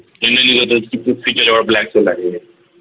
तिच्याजवळ black hole आहे किंवा